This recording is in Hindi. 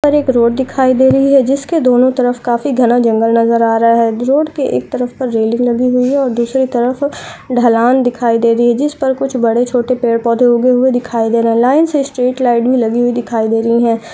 पर एक रोड दिखाय दे रही है जिसके दोनों तरफ काफी घना जंगल नजर आ रहा है। रोड के एक तरफ रेलिंग लगी हुई है और दूसरी तरफ ढलान दिखाई दे रही है। जिस पर कुछ बड़े-छोटे पेड़-पौधे उगे हुए दिखाई दे रहे हैं। लाइन से स्त्रीटलाईट भी लगी हुई दिखाई दे रही है।